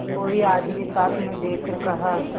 कोई आदमी साथ न देखकर कहा